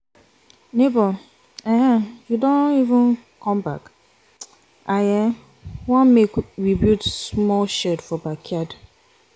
nebor um you don um come back? i um want make we build small shed for backyard.